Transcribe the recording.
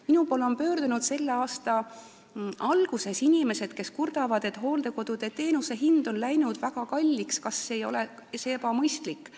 Minu poole pöördusid selle aasta alguses inimesed, kes kurtsid, et hooldekodudes on teenuse hind läinud väga kalliks, nad tundsid huvi, kas see ei ole ebamõistlik.